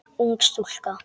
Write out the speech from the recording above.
Ung stúlka.